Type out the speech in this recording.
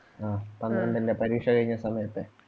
ആ പന്ത്രണ്ടിന്റെ പരീക്ഷ കഴിഞ്ഞ സമയത്ത്